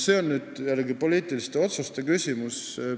See on poliitiliste otsuste küsimus.